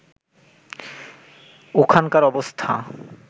ওখানকার অবস্থা